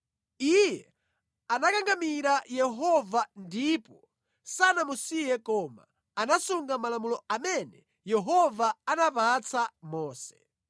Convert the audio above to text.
Iye anakangamira Yehova ndipo sanamusiye koma anasunga malamulo amene Yehova anapatsa Mose.